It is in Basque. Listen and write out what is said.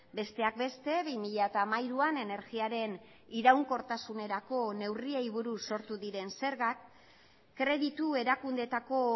besteak beste bi mila hamairuan energiaren iraunkortasunerako neurriei buruz sortu diren zergak kreditu erakundeetako